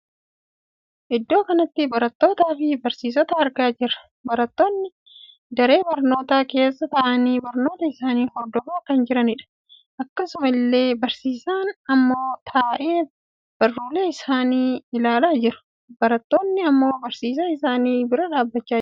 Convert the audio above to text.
Iddoo kanatti barattootaa fi barsiisota argaa jira. Barattoonni daree barnootaa keessa taa'anii barnoota isaanii hordofaa kan jiranidha. Akkaasuma illee barsiisaanii immoo taa'ee barruuleen isaanii ilaalaa jira. Barattoonni ammoo barsiisaa isaanii bira dhaabbachaa jiru.